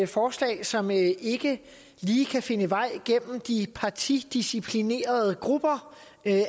forslag som ikke ikke lige kan finde vej gennem de partidisciplinerede grupper